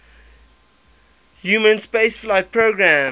human spaceflight programmes